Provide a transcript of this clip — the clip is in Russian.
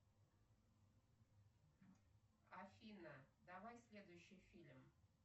афина давай следующий фильм